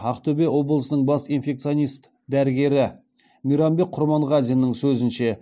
ақтөбе облысының бас инфекционист дәрігері мейрамбек құрманғазиннің сөзінше